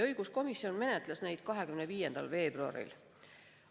Õiguskomisjon menetles neid 25. veebruaril.